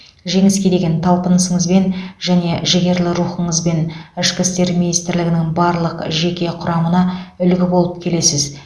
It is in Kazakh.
жеңіске деген талпынысыңызбен және жігерлі рухыңызбен ішкі істер министрлігінің барлық жеке құрамына үлгі болып келесіз